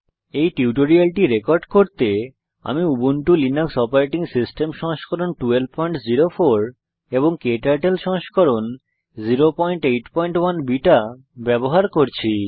এই টিউটোরিয়ালটি রেকর্ড করতে আমি উবুন্টু লিনাক্স ওএস সংস্করণ 1204 ক্টার্টল সংস্করণ 081 বিটা ব্যবহার করছি